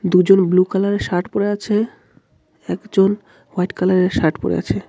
দুজন ব্লু কালারের শার্ট পরে আছে একজন হোয়াইট কালারের শার্ট পরে আছে.